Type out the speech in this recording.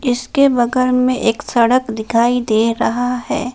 इसके बगल में एक सड़क दिखाई दे रहा है।